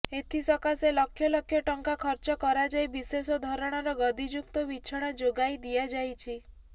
ଏଥିସକାସେ ଲକ୍ଷ ଲକ୍ଷ ଟଙ୍କା ଖର୍ଚ କରାଯାଇ ବିଶେଷ ଧରଣର ଗଦିଯୁକ୍ତ ବିଛଣା ଯୋଗାଇ ଦିଆଯାଇଛି